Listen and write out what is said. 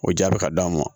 O jaa bɛ ka d'an ma